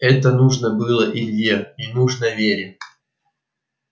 это нужно было илье и нужно вере